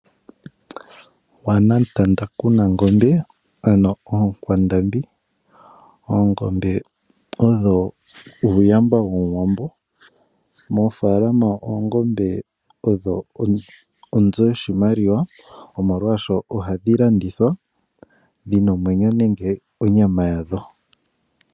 Waana mutanda kuna ngombe ano oonkwandambi. Oongombe odho uuyamba womuwambo. Mofaalama oongombe odho onzo yoshimaliwa omolwashoka ohadhi landithwa dhina omwenyo nenge onyama yadho.